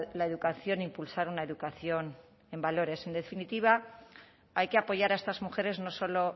la educación impulsar una educación en valores en definitiva hay que apoyar a estas mujeres no solo